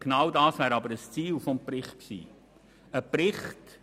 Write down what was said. Genau dies wäre jedoch ein Ziel des Berichts gewesen.